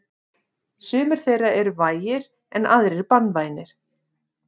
Sumir þeirra eru vægir en aðrir banvænir.